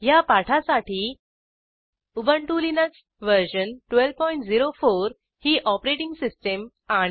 ह्या पाठासाठी Ubuntu Linux version 1204 ही ऑपरेटिंग सिस्टीम आणि